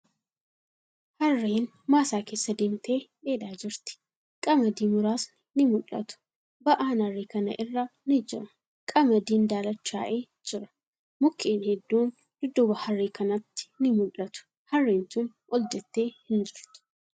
Harreen maasaa keessa deemtee dheedaa jirti. Qamadii muraasni ni mul'ata. Ba'aan harree kana irra ni jira. Qamadiin daalachaa'ee jira. Mukkeen hedduun dudduuba harree kanatti ni mul'atu. Harreen tuni ol jettee hin jirtu.